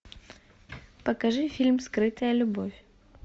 покажи фильм скрытая любовь